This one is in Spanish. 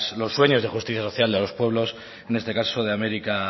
los sueños de justicia social de los pueblos en este caso de américa